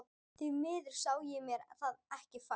Því miður sá ég mér það ekki fært.